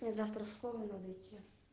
мне завтра в школу надо идти